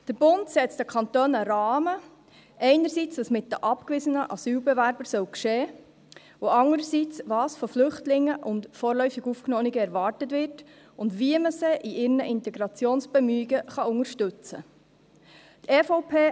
Der Bund setzt den Kantonen einen Rahmen, einerseits dahingehend, was mit den abgewiesenen Asylbewerbern geschehen soll, andererseits in Bezug auf das, was von Flüchtlingen und vorläufig Aufgenommenen erwartet wird, und wie man sie in ihren Integrationsbestrebungen unterstützen kann.